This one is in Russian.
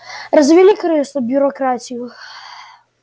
развели крысы бюрократию